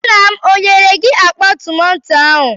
Nna m enyere gị akpa tomato ahụ?